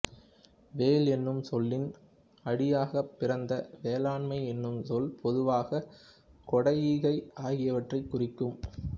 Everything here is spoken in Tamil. வேள் என்னும் சொல்லின் அடியாகப் பிறந்த வேளாண்மை என்னும் சொல் பொதுவாக கொடை ஈகை ஆகியவற்றைக் குறிக்கும்